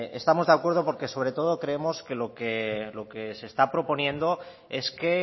estamos de acuerdo porque sobre todo creemos que lo que se está proponiendo es que